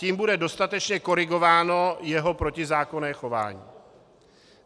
Tím bude dostatečně korigováno jeho protizákonné chování.